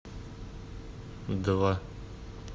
два